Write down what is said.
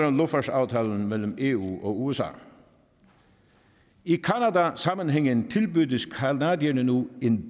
om luftfartsaftalen mellem eu og usa i canadasammenhængen tilbydes canadierne nu en